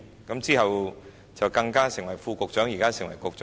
然後，他還成為副局長，現時更是局長。